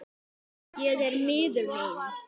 Ég er miður mín.